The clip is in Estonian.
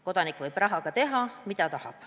Kodanik võib rahaga teha, mida tahab.